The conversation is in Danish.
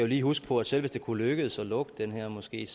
lige huske på at selv hvis det kunne lykkes at lukke den her moské er